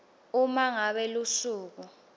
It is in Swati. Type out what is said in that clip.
uma ngabe lusuku